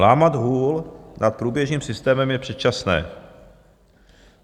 Lámat hůl nad průběžným systémem je předčasné.